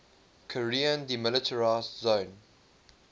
korean demilitarized zone